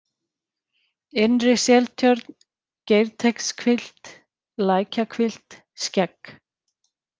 Innri-Seltjörn, Geirteigshvilft, Lækjahvilft, Skegg